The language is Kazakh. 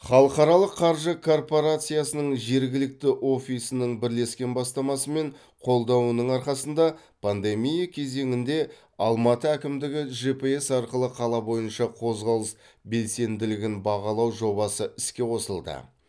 халықаралық қаржы корпорациясының жергілікті офисінің бірлескен бастамасы мен қолдауының арқасында пандемия кезеңінде алматы әкімдігі жэ пэ эс арқылы қала бойынша қозғалыс белсенділігін бағалау жобасы іске қосылды